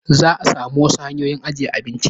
Zaa sami wasu hanyoyi ajjiye abinci